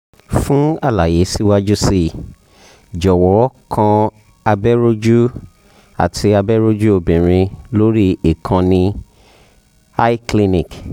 fun alaye siwaju sii jọwọ um kan abẹ́rọ̀jú um àti abẹ́rọ̀jú obìnrin lórí ìkànnì um cliniq